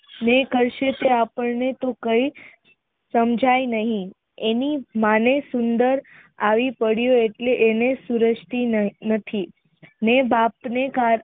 જે કરશે તે આપણને તો કઈ સમજાય નહિ એની માને સુંદર આવી પડ્યું એટલે એને સુરેજતી નથી ને બાપ ને